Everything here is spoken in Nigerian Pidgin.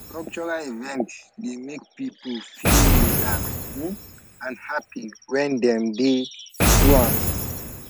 cultural event dey make people feel relax um and happy when dem dey do am